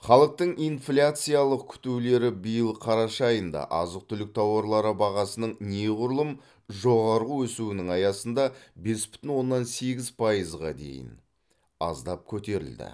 халықтың инфляциялық күтулері биыл қараша айында азық түлік тауарлары бағасының неғұрлым жоғары өсуінің аясында бес бүтін оннан сегіз пайызға дейін аздап көтерілді